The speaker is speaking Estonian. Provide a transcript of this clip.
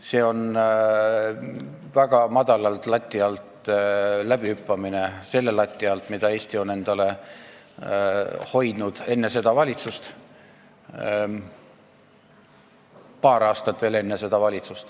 See on väga selgelt lati alt läbihüppamine – selle lati alt, mida Eesti on endale hoidnud enne seda valitsust.